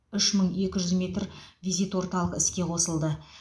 үш мың екі жүз метр визит орталық іске қосылды